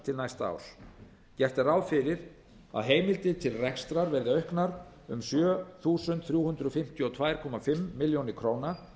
til næsta árs gert er ráð fyrir að heimildir til rekstrar verði auknar um sjö þúsund þrjú hundruð fimmtíu og tvö og hálfa milljón króna